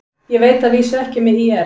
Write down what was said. Ég veit að vísu ekki með ÍR.